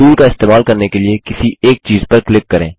tool का इस्तेमाल करने के लिए किसी एक चीज़ पर क्लिक करें